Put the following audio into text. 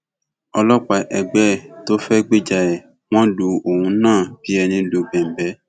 ọlọpàá ẹgbẹ ẹ tó fẹẹ gbìjà ẹ wọn lu òun náà bíi ẹni lu bẹńbẹ